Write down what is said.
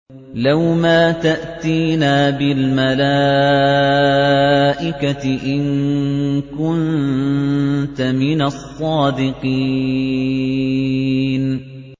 لَّوْ مَا تَأْتِينَا بِالْمَلَائِكَةِ إِن كُنتَ مِنَ الصَّادِقِينَ